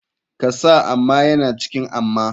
Kasa amma yana cikin amma.